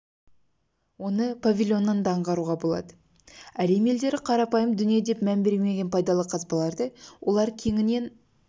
оны павильоннан да аңғаруға болады әлем елдері қарапайым дүние деп мән бермеген пайдалы қазбаларды олар кеңінен